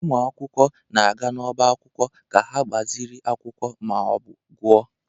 Ụmụ akwụkwọ na-aga n'ọbá akwụkwọ ka ha gbaziri akwụkwọ ma ọ bụ gụọ.